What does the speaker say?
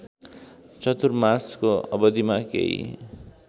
चतुर्मासको अवधिमा केही